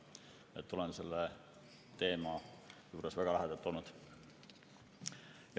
Nii et olen selle teema juures väga lähedalt olnud.